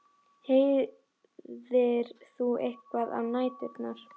Heyrðir þú eitthvað á næturnar?